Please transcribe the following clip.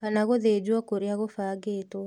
Kana gũthĩnjwo kũrĩa gũbangĩtwo